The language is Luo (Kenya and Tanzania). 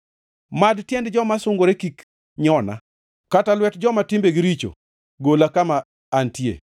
Mad tiend joma sungore kik nyona, kata lwet joma timbegi richo gola kama antie.